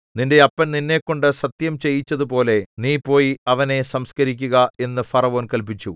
നിന്റെ അപ്പൻ നിന്നെക്കൊണ്ടു സത്യം ചെയ്യിച്ചതുപോലെ നീ പോയി അവനെ സംസ്കരിക്കുക എന്നു ഫറവോൻ കല്പിച്ചു